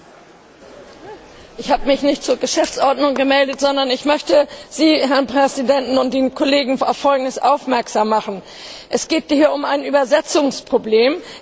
Herr Präsident! Ich habe mich nicht zur Geschäftsordnung gemeldet, sondern ich möchte Sie, Herr Präsident, und die Kollegen auf Folgendes aufmerksam machen Es geht hier um ein Übersetzungsproblem.